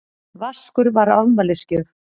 Vaskur var afmælisgjöf.